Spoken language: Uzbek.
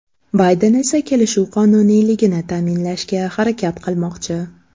Bayden esa kelishuv qonuniyligini ta’minlashga harakat qilmoqchi.